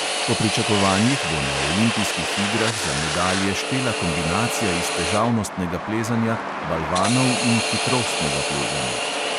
Po pričakovanjih bo na olimpijskih igrah za medalje štela kombinacija iz težavnostnega plezanja, balvanov in hitrostnega plezanja.